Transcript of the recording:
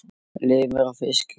Lifir á fiski.